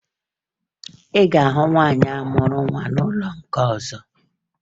Ị ga-ahụ nwaanyị ahụ mụrụ nwa n'ọnụ ụlọ nke ọzọ